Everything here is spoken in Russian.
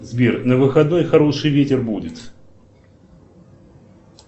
сбер на выходной хороший ветер будет